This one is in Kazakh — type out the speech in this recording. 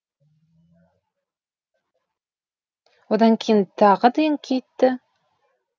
одан кейін тағы да еңкейтті